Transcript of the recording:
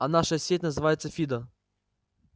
а наша сеть называется фидо